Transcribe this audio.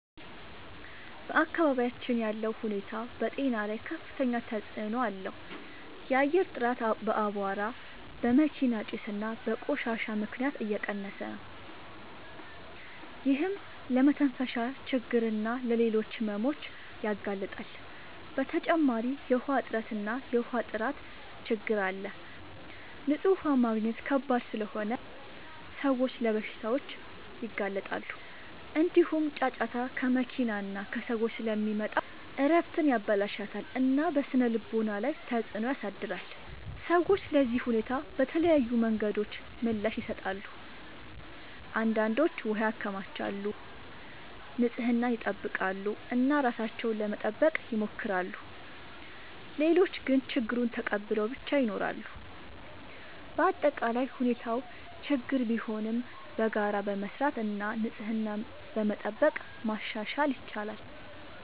በአካባቢያችን ያለው ሁኔታ በጤና ላይ ከፍተኛ ተጽዕኖ አለው። የአየር ጥራት በአቧራ፣ በመኪና ጭስ እና በቆሻሻ ምክንያት እየቀነሰ ነው፤ ይህም ለመተንፈሻ ችግኝ እና ለሌሎች ሕመሞች ያጋልጣል። በተጨማሪ የውሃ እጥረት እና የውሃ ጥራት ችግኝ አለ፤ ንጹህ ውሃ ማግኘት ከባድ ስለሆነ ሰዎች ለበሽታዎች ይጋለጣሉ። እንዲሁም ጫጫታ ከመኪና እና ከሰዎች ስለሚመጣ እረፍትን ያበላሽታል እና በስነ-ልቦና ላይ ተጽዕኖ ያሳድራል። ሰዎች ለዚህ ሁኔታ በተለያዩ መንገዶች ምላሽ ይሰጣሉ። አንዳንዶች ውሃ ያከማቻሉ፣ ንጽህናን ይጠብቃሉ እና ራሳቸውን ለመጠበቅ ይሞክራሉ። ሌሎች ግን ችግኙን ተቀብለው ብቻ ይኖራሉ። በአጠቃላይ ሁኔታው ችግኝ ቢሆንም በጋራ በመስራት እና ንጽህናን በመጠበቅ ማሻሻል ይቻላል።